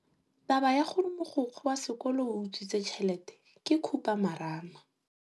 Taba ya gore mogokgo wa sekolo o utswitse tšhelete ke khupamarama.